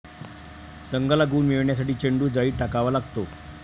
संघाला गुण मिळवण्यासाठी चेंडू जाळीत टाकावा लागतो.